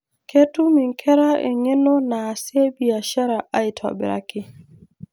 Ketum inkera eng'eno naasie biashara aitobiraki.